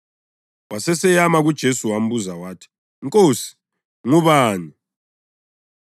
Waseseyama kuJesu wambuza wathi, “Nkosi, ngubani?”